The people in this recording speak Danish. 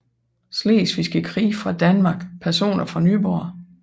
Slesvigske Krig fra Danmark Personer fra Nyborg